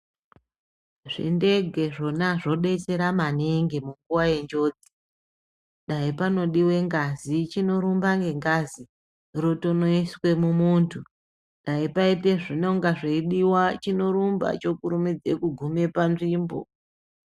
Zvindege zvona zvodetsera maningi munguwa yenjodzi dai panodiwe ngazi chinorumba nengazi rotonoiswe mumuntu dai paite zvinonga zveidiwa chinorumba chokurumidze kugume panzvimbo.